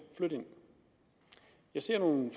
flytte ind jeg ser nogle